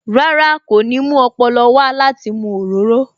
Rárá, kò ní mú ọpọlọ wá láti mu òróró